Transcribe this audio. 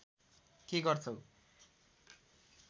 के गर्छौ